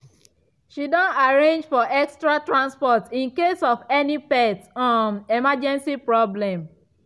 she don arrange for extra transport in case of any pet um emergency problem